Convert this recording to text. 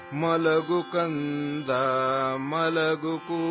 جو جو...جو...جو